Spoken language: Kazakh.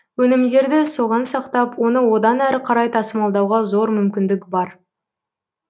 өнімдерді соған сақтап оны одан әрі қарай тасымалдауға зор мүмкіндік бар